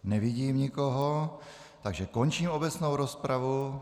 Nevidím nikoho, takže končím obecnou rozpravu.